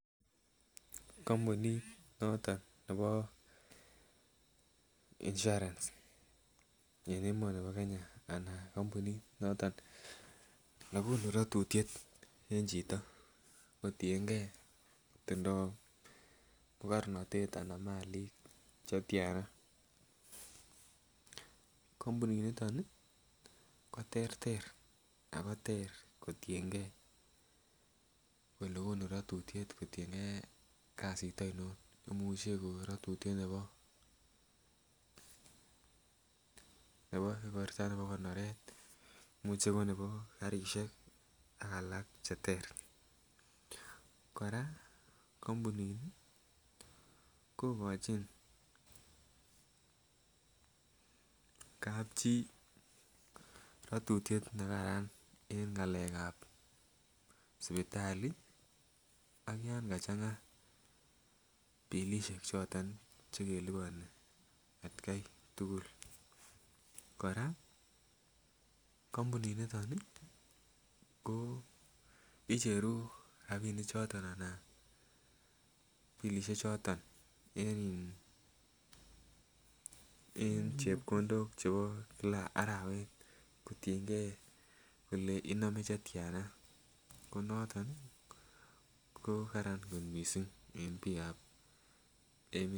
Kampunit noton Nebo insurance en emoni ba Kenya anan ko kampunit noton nekunu rotutiet en Chito kotienge koitindoi magarnatet anan Malik kampunit niton koterter akoter kotiyengei Kole konu ratutiet en Kenya en kasi ainonimuche kokon ratutiet Nebo konoret imuche konebi karishek akalak cheter koraa kampunit kokachin kapchi ratutiet nekaran en ngalek ab sibitali ak yangachanga bilishek choton chekelubani atkai tugul koraa kampunit niton koicheru rabinik choton anan bilishek choton en chepkondok chebo kila ak kotiyengei Kole iname chetiana konoton kokararan kot mising en bik